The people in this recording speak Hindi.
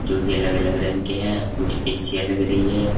जो कि अलग अलग रंग के हैं कुछ एसीयां लग रही है।